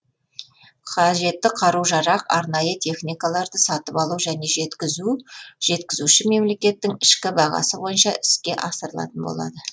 қажетті қару жарақ арнайы техникаларды сатып алу және жеткізу жеткізуші мемлекеттің ішкі бағасы бойынша іске асырылатын болады